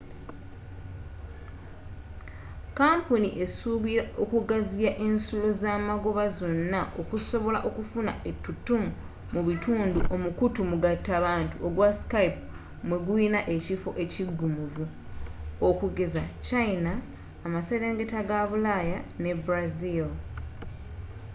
kampuni esuubira okugaziya ensulo zamagoba zonna okusobola okufuna ettutumu mu bitundu omukutu omugatta bantu ogwa skype mweguyina ekifo ekigumivu okugeza china amaserengeta ga bulaaya ne brazil